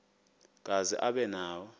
kazi aba nawo